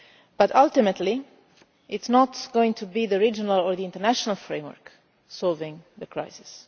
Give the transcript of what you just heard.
rebuilt. But ultimately it is not going to be the regional or the international framework that resolves the